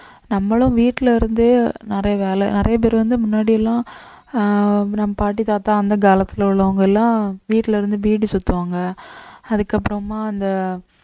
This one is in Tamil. நம்மளும் வீட்டுல இருந்தே நிறைய வேலை நிறைய பேர் வந்து முன்னாடி எல்லாம் ஆஹ் நம்ம பாட்டி தாத்தா அந்த காலத்துல உள்ளவங்க எல்லாம் வீட்டுல இருந்து பீடி சுத்துவாங்க அதுக்கப்புறமா